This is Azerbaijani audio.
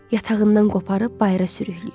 Yatağından qoparıb bayıra sürükləyir.